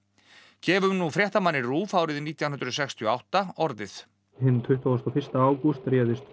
gefum nú fréttamanni RÚV árið nítján hundruð sextíu og átta orðið hinn tuttugasta og fyrsta ágúst réðist tvö